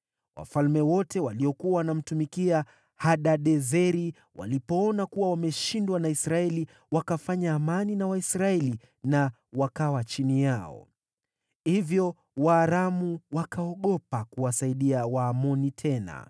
Wafalme wote waliokuwa wanamtumikia Hadadezeri walipoona kuwa wameshindwa na Israeli, wakafanya amani na Waisraeli na wakawa chini yao. Hivyo Waaramu wakaogopa kuwasaidia Waamoni tena.